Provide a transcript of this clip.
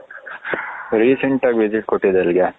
Recent ಆಗಿ visit ಕೊಟ್ಟಿದ್ದು ಎಲ್ಲಿಗೆ